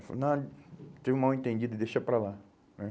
Ele falou, não, teve um mal-entendido, deixa para lá, né?